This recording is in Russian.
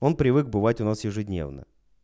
он привык бывать у нас ежедневно